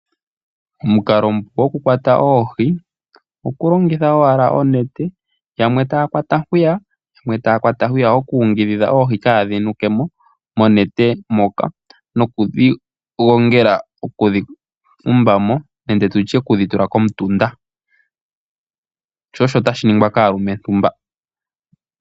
Omukalo omupu oku kwata oohi oku longitha owala onete, yamwe taya kwata hwiya, yamwe taya kwata hwiya oku yungudhidha oohi kaadhi nuke mo monete moka nokudhi gongela okudhi tumbamo nenge tutye okudhi tula komutunda osho osho tashi ningwa kaalumentu mba.